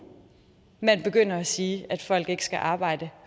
man begynder at sige at folk ikke skal arbejde